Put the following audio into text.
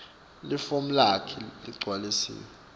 lifomu lakho leligcwalisiwe